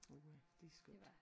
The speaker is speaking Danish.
Uha det er skønt